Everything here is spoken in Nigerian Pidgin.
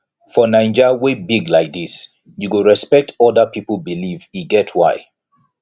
for naija wey big like dis you go respect oda pipo belief e get why